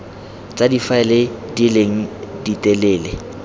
tsa difaele di leng ditelele